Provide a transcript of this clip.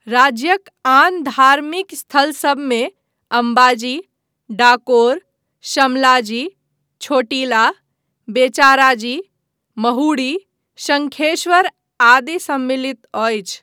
राज्यक आन धार्मिक स्थलसभमे अम्बाजी, डाकोर, शमलाजी, छोटीला, बेचाराजी, महुडी, शंखेश्वर आदि सम्मिलित अछि।